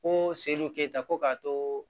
Ko seli keyita ko k'a to